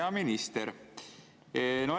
Hea minister!